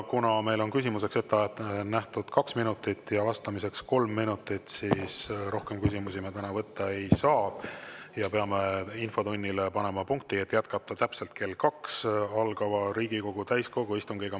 Kuna meil on küsimuseks ette nähtud kaks minutit ja vastamiseks kolm minutit, siis rohkem küsimusi me täna võtta ei saa ja peame panema infotunnile punkti, et täpselt kell kaks jätkata Riigikogu täiskogu istungiga.